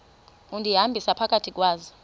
undihambisa phakathi kwazo